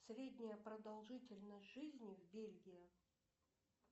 средняя продолжительность жизни в бельгии